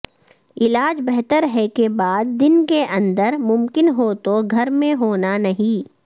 علاج بہتر ہے کے بعد دن کے اندر ممکن ہو تو گھر میں ہونا نہیں